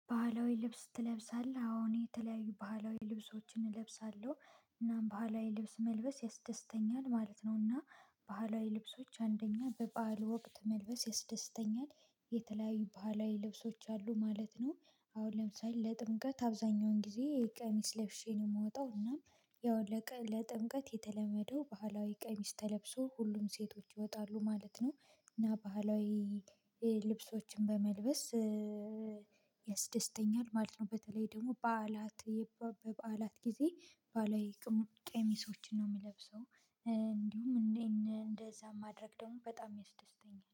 ባህላዊ ልብስ ትለብሳለህ? አዎ እኔ የተለያዩ ባህላዊ ልብሶችን እለብሳለሁ እናም ባህላዊ ልብስ መልበስ ያስደስተኛል ማለት ነውና። ባህላዊ ልብሶች አንደኛ በባህል ወቅት መልበስ ያስደስተኛል። የተለያዩ ባህላዊ ልብሶች አሉ ማለት ነው። አሁን ለምሳሌ ለጥምቀት አብዛኛውን ጊዜ ቀሚስ ለብሼ ነው የምወጣው እናም የወለቀ ለጥምቀት የተለመደው ባህላዊ ቀሚስ ተለብሶ ሁሉም ሴቶች ይወጣሉ ማለት ነው። እና ባህላዊ ልብሶችን በመልበስ። ያስደስተኛል ማለት ነው በተለይ ደግሞ በዓላት በዓላት ጊዜ ባህላዊ ቀሚሶችን ነው የምለብሰው። እንዲሁም እንደዚያ ማድረግ ደግሞ በጣም ያስደስተኛል